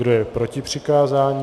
Kdo je proti přikázání?